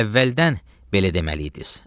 Elə əvvəldən belə deməliydiz.